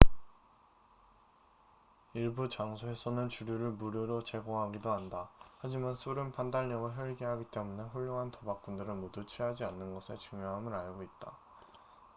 일부 장소에서는 주류를 무료로 제공하기도 한다 하지만 술은 판단력을 흐리게 하기 때문에 훌륭한 도박꾼들은 모두 취하지 않는 것의 중요함을 알고 있다